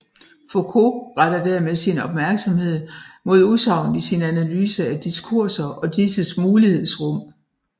Foucault retter dermed sin opmærksomhed mod udsagnet i sin analyse af diskurser og disses mulighedsrum